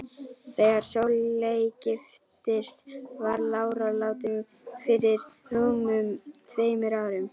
Þegar Sóley giftist var lára látin fyrir rúmum tveimur árum.